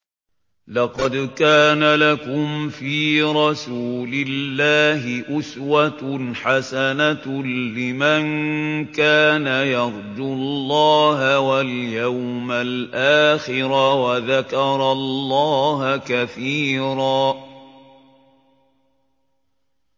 لَّقَدْ كَانَ لَكُمْ فِي رَسُولِ اللَّهِ أُسْوَةٌ حَسَنَةٌ لِّمَن كَانَ يَرْجُو اللَّهَ وَالْيَوْمَ الْآخِرَ وَذَكَرَ اللَّهَ كَثِيرًا